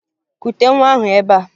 Kute nwa ahụ ebea!